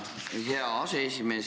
Tänan, hea aseesimees!